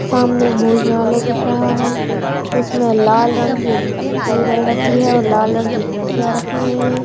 सामने एक भोजनालय दिख रहा है | इसमें लाल रंग की उम टेबल रखी है और लाल रंग की कुर्सियाँ रखी हुइ है |